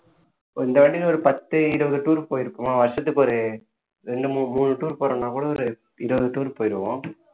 ஒரு இந்த வாட்டின்னு ஒரு பத்து இருபது tour க்கு போயிருக்கோமா வருஷத்துக்கு ஒரு ரெண்டு மூணு மூணு tour போறோம்ன்னா கூட ஒரு இருபது tour போயிருவோம்